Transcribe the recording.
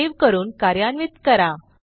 save करून कार्यान्वित करा